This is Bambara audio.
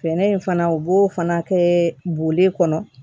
Fɛɛrɛ in fana u b'o fana kɛ bule kɔnɔ